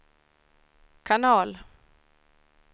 kanal